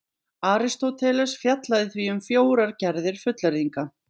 Aristóteles fjallaði því um fjórar gerðir fullyrðinga: